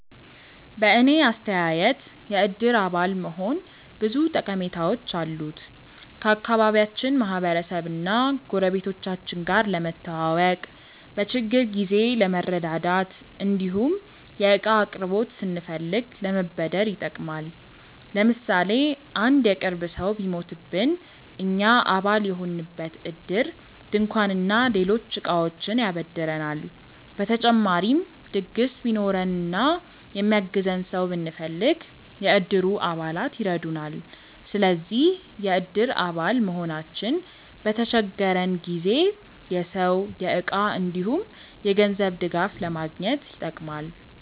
በእኔ አስተያየት የእድር አባል መሆን ብዙ ጠቀሜታዎች አሉት። ከአካባቢያችን ማህበረሰብ እና ጎረቤቶቻችን ጋር ለመተዋወቅ፣ በችግር ጊዜ ለመረዳዳት እንዲሁም የእቃ አቅርቦት ስንፈልግ ለመበደር ይጠቅማል። ለምሳሌ አንድ የቅርብ ሰው ቢሞትብን እኛ አባል የሆንበት እድር ድንኳን እና ሌሎች እቃዎችን ያበድረናል። በተጨማሪም ድግስ ቢኖረን እና የሚያግዘን ሰው ብንፈልግ፣ የእድሩ አባላት ይረዱናል። ስለዚህ የእድር አባል መሆናችን በተቸገረን ጊዜ የሰው፣ የእቃ እንዲሁም የገንዘብ ድጋፍ ለማግኘት ይጠቅማል።